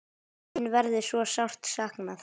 Þín verður svo sárt saknað.